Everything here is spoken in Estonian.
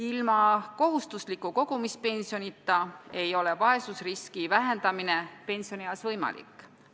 Ilma kohustusliku kogumispensionita ei ole vaesusriski vähendamine pensionieas võimalik.